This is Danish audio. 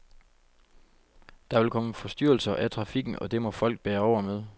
Der vil komme forstyrrelser af trafikken, og det må folk bære over med.